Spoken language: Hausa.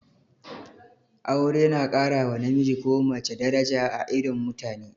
Aure na ƙara wa namiji ko mace daraja a idon mutane